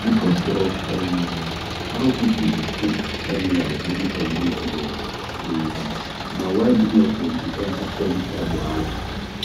because of um how people dey spend anyhow during holiday period um na why many of dem dey enter credit card wahala